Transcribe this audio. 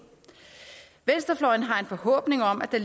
venstrefløjen har en forhåbning om at der